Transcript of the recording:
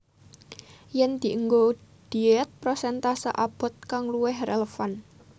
Yeng dienggo diet prosentase abot kang luwih relevan